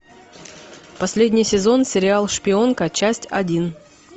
последний сезон сериал шпионка часть один